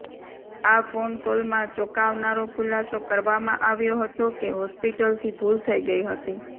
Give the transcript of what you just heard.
આ ફોન કોલમાં ચોંકાવનારો ખુલાસો કરવામાં આવ્યો હતો કે હોસ્પિટલથી ભૂલ થઈ ગઈ હતી